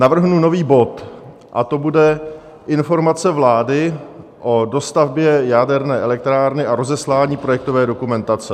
Navrhnu nový bod a to bude Informace vlády o dostavbě jaderné elektrárny a rozeslání projektové dokumentace.